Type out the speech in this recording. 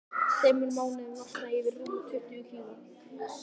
Á þremur mánuðum losnaði ég við rúm tuttugu kíló.